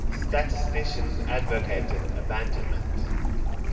statisticians advocated abandonment